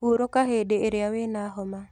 Hurũka hĩndĩĩrĩa wĩna homa.